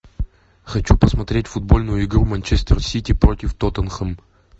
хочу посмотреть футбольную игру манчестер сити против тоттенхэм